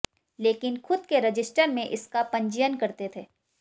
लेकिन खुद के रजिस्टर में इसका पंजीयन करते थे